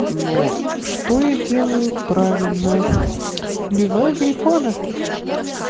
ну что я делаю правильно убиваю глифода